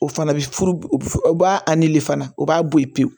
O fana bi furu u b'a nili fana o b'a bɔ yen pewu